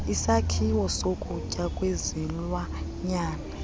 isakhiwo sokutya kwezilwanyana